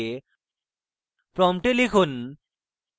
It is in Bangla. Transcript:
prompt লিখুন: